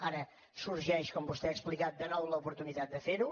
ara sorgeix com vostè ha explicat de nou l’oportunitat de fer ho